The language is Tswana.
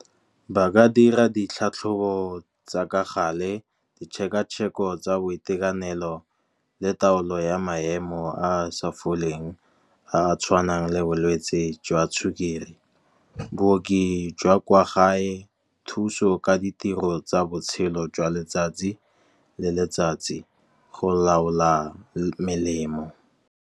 Ba ka dira ditlhatlhobo tsa ka gale ditšhekatšheko tsa boitekanelo le taolo ya maemo a a sa foleng, a a tshwanang le bolwetsi jwa sukiri. Booki jwa kwa gae thuso ka ditiro tsa botshelo jwa letsatsi le letsatsi go laola melemo.